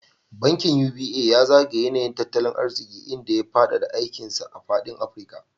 Bankin UBA ya zagaya yanayin tattalin arziki, inda ya faɗaɗa aikin sa a faɗin Afirka.